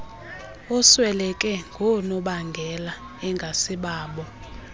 osweleke ngoonobangela engasibabo